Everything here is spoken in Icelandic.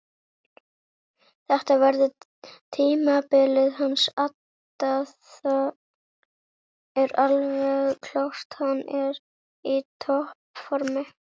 Þetta verður tímabilið hans adda það er alveg klárt hann er í toppformi.